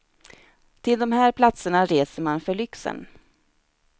Till de här platserna reser man för lyxen.